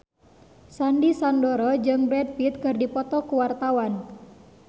Sandy Sandoro jeung Brad Pitt keur dipoto ku wartawan